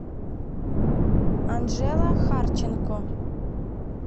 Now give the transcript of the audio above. анжела харченко